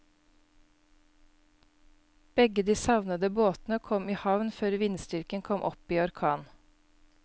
Begge de savnede båtene kom i havn før vindstyrken kom opp i orkan.